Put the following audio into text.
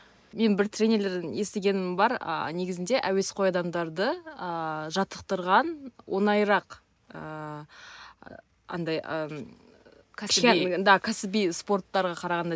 мен бір тренерлерден есігенім бар а негізінде әуесқой адамдарды ааа жаттықтырған оңайырақ ыыы андай ммм кәсіби спорттарға қарағанда